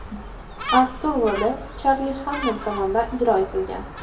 Artur roli Charli Xannem tomonidan ijro etilgan.